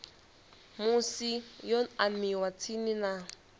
musi yo aniwa tsini na